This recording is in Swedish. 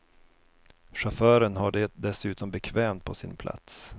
Chauffören har det dessutom bekvämt på sin plats.